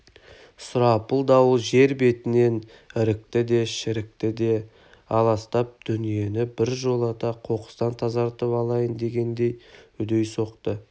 сұрапыл дауыл жер бетінен ірікті де шірікті де аластап дүниені бір жолата қоқыстан тазартып алайын дегендей үдей соқты